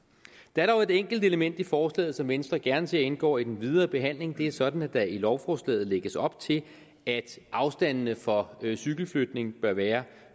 der er dog et enkelt element i forslaget som venstre gerne ser indgår i den videre behandling det er sådan at der i lovforslaget lægges op til at afstanden for cykelflytning bør være